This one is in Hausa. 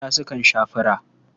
Yara sun sha fura.